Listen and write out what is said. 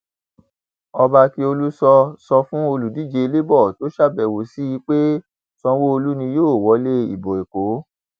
ọba akiolu sọ sọ fún olùdíje labour tó ṣàbẹwò sí i pé sanwóolu ni yóò wọlé ìbò èkó